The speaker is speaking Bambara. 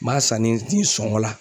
N b'a san ni ni sɔngɔ la.